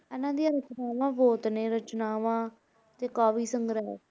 ਇਹਨਾਂ ਦੀਆਂ ਰਚਨਾਵਾਂ ਬਹੁਤ ਨੇ ਰਚਨਾਵਾਂ ਤੇ ਕਾਵਿ ਸੰਗ੍ਰਹਿ।